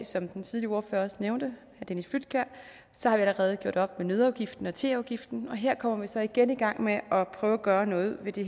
som den tidligere ordfører også nævnte allerede gjort op med nøddeafgiften og teafgiften og her kommer vi så igen i gang med at prøve at gøre noget ved det